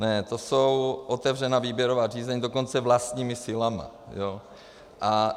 Ne, to jsou otevřená výběrová řízení, dokonce vlastními silami.